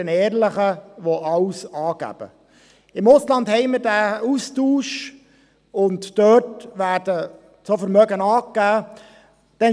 Mit dem Ausland haben wir diesen Austausch, und dort werden die Vermögen angegeben.